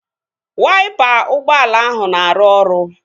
Waipa ụgbọala ahụ na-arụ ọrụ